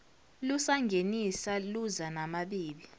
lusangenisa luza namabibi